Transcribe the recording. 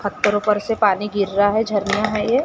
फत्तरों पर से पानी गिर रहा झरना है ये--